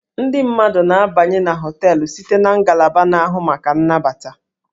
Ndị mmadụ na-abanye na hóteélụ̀ site na ngalaba na-ahụ maka nnabata